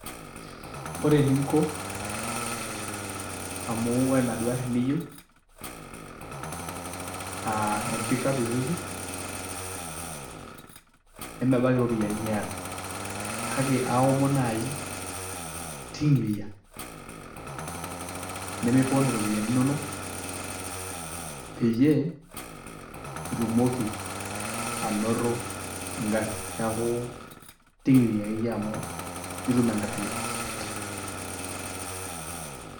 Ore eninko amu ore enaduo arri niyieu aa empik up Isuzu nemebaiki iropiyani niata kake aaomon naai ting'iria nemipon iropiyiani inonok peyie itumoki anoto engarri, neeku ting'iria akeyie amu itum engarri pii.